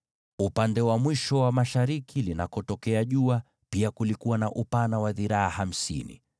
Upande wa mwisho wa mashariki jua linakochomoza, pia ulikuwa na upana wa dhiraa hamsini.